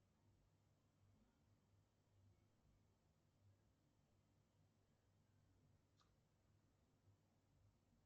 сбер нет смс от банка